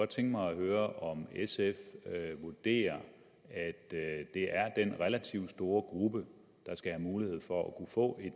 tænke mig at høre om sf vurderer at det er den relativt store gruppe der skal have mulighed for at få